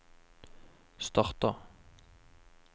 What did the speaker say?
starta